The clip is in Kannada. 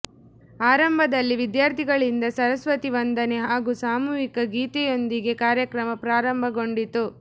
ಆರಂಭದಲ್ಲಿ ವಿದ್ಯಾರ್ಥಿಗಳಿಂದ ಸರಸ್ವತಿ ವಂದನೆ ಹಾಗೂ ಸಾಮೂಹಿಕ ಗೀತೆಯೊಂದಿಗೆ ಕಾರ್ಯಕ್ರಮ ಪ್ರಾರಂಭಗೊಂಡಿತು